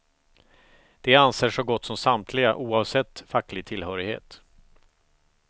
Det anser så gott som samtliga oavsett facklig tillhörighet.